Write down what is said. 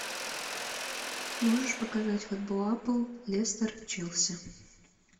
можешь показать футбол апл лестер челси